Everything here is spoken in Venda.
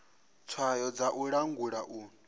tswayo dza u langula u